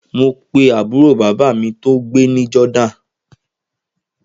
Mo pe àbúrò bàbá mi tó gbé ní Jordan